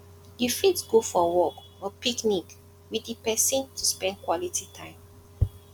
you fit go for walk or picnic with di person to spend quality time